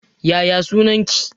Yaya sunan ki